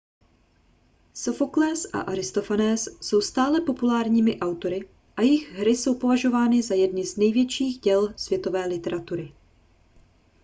sofoklés a aristofanés jsou stále populárními autory a jejich hry jsou považovány za jedny z největších děl světové literatury